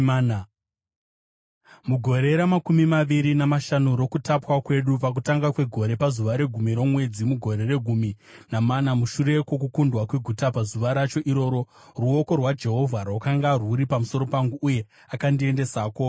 Mugore ramakumi maviri namashanu rokutapwa kwedu, pakutanga kwegore, pazuva regumi romwedzi, mugore regumi namana, mushure kwokukundwa kweguta, pazuva racho iroro ruoko rwaJehovha rwakanga rwuri pamusoro pangu uye akandiendesako.